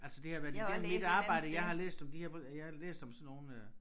Altså det har været igennem mit arbejde jeg har læst om de her jeg har læst om sådan nogle øh